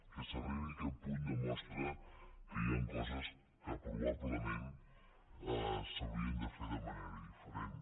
que s’arribi a aquest punt demostra que hi han coses que probablement s’haurien de fer de manera diferent